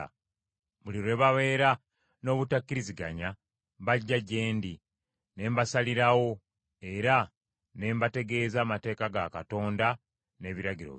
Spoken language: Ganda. Buli lwe babeera n’obutakkiriziganya, bajja gye ndi, ne mbasalirawo, era ne mbategeeza amateeka ga Katonda n’ebiragiro bye.”